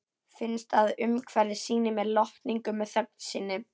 Finnst að umhverfið sýni mér lotningu með þögn sinni.